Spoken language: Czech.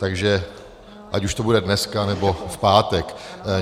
Takže ať už to bude dneska, nebo v pátek.